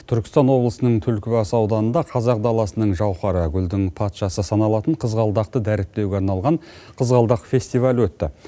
түркістан облысының түлкібас ауданында қазақ даласының жауһары гүлдің патшасы саналатын қызғалдақты дәріптеуге арналған қызғалдақ фестивалі өтті